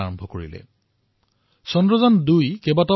চন্দ্ৰায়ন ২ৰ উৎক্ষেপণৰ আলোকচিত্ৰই দেশবাসীক গৌৰৱান্বিত কৰিলে